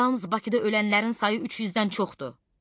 Yalnız Bakıda ölənlərin sayı 300-dən çoxdur.